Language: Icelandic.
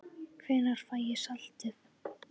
Hvenær fæ ég saltið?